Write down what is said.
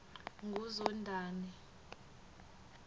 nguzondani